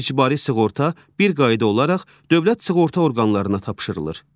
İcbari sığorta bir qayda olaraq dövlət sığorta orqanlarına tapşırılır.